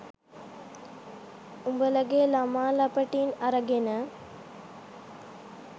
උඹලගේ ළමා ලපටින් අරගෙන